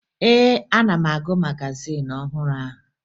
Ee, ana m agụ magazin ọhụrụ ahụ